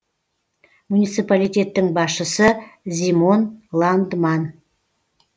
муниципалитеттің басшысы зимон ландман